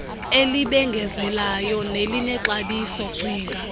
elibengezelayo nelinexabiso cinga